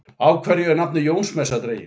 Af hverju er nafnið Jónsmessa dregið?